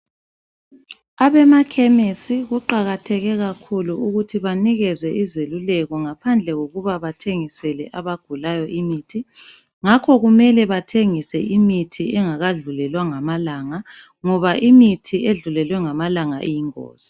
Abema khemisi kuqakatheke kakhulu ukuthi banikezwe izeluleko ngaphandle kokuba bathengisele abagulayo imuthi. Ngakho kumele bathengise imithi engakadlulelwa ngamalanga, ngoba umithi edlulelwe ngamalanga iyingozi.